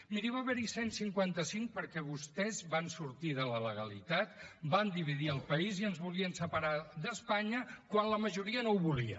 miri va haver hi cent i cinquanta cinc perquè vostès van sortir de la legalitat van dividir el país i ens volien separar d’espanya quan la majoria no ho volia